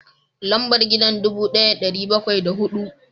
Lambar gidan dubu daya da dari bakwai da hudu